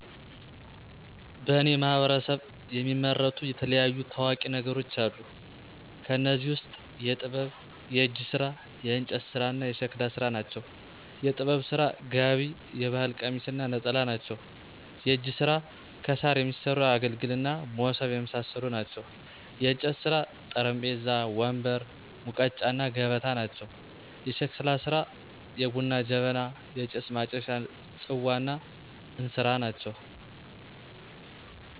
በእኔ ማህበረሰብ የሚመረቱ የተለያዩ ታዋቂ ነገሮች አሉ። ከእኔዚህ ውስጥ የጥበብ፣ የእጅ ስራ፣ የእንጨት ስራ እና የሸክላ ስራ ናቸው። -የጥበብ ስራ፦ ጋቢ የባህል ቀሚስ እና ነጠላ ናቸው። -የእጅ ስራ፦ ከሳር የሚሠሩ አገልግል እና ሞሠብ የመሳሠሉ ናቸው። -የእንጨት ስራ፦ ጠረጴዛ፣ ወንበር፣ ሙቀጫ እና ገበታ ናቸው። -የሸክላ ስራ፦ የቡና ጀበና፣ የጭስ ማጨሻ፣ ፅዋ እና እንስራ ናቸው